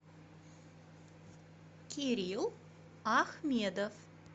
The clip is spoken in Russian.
кирилл ахмедов